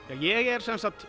ég er sem sagt